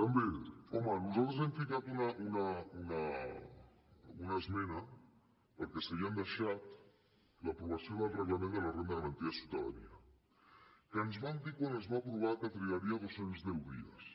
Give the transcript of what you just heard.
)també home nosaltres hi hem ficat una esmena perquè s’havien deixat l’aprovació del reglament de la renda garantida de ciutadania que ens van dir quan es va aprovar que es trigaria dos cents i deu dies